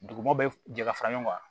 Duguma bɛ jɛ ka fara ɲɔgɔn kan